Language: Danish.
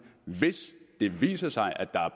hvis det viser sig